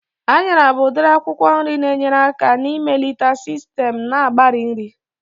Anyara bụ udiri akwụkwọ nri na-enyere aka na-ịmelite sistem na-agbari nri